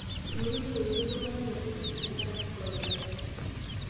Mekure eyiuni iltunganak tekotini tengaraki coronavirus